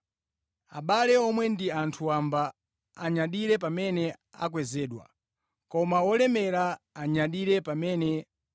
Koma olemera anyadire pamene atsitsidwa, chifukwa adzatha ngati duwa lakuthengo.